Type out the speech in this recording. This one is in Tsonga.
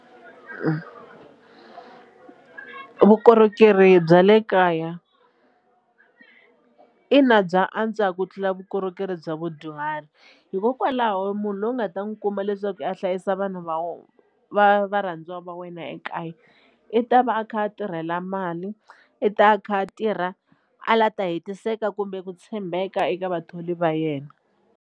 Vukorhokeri bya le kaya ina bya antswa ku tlula vukorhokeri bya vudyuhari hikokwalaho munhu loyi u nga ta n'wi kuma leswaku a hlayisa vanhu va va varhandziwa va wena ekaya i ta va a kha a tirhela mali i ta a kha a tirha a la ta hetiseka kumbe ku tshembeka eka vathori va yena.